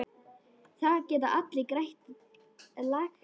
Það geta allir grætt, lagsi.